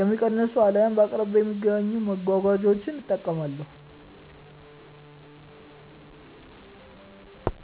የሚቀንሱ አልያም በአቅራቢያዬ በሚገኙ መጓጓዣዎች እጠቀማለሁ።